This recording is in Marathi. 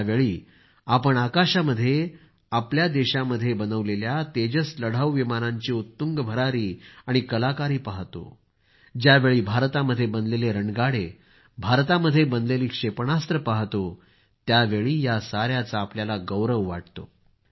ज्यावेळी आपण आकाशामध्ये आपल्या देशामध्ये बनवलेल्या तेजस लढाऊ विमानांची उत्तुंग भरारी आणि कलाकारी पाहतो ज्यावेळी भारतामध्ये बनलेले रणगाडे भारतामध्ये बनलेली क्षेपणास्त्रे पाहतो त्यावेळी आपल्याला गौरव वाटतो